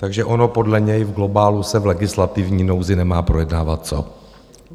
Takže ono podle něj v globálu se v legislativní nouzi nemá projednávat co.